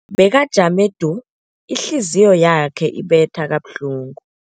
Bekajame du, ihliziyo yakhe ibetha kabuhlungu.